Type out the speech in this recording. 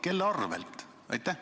Kelle arvel?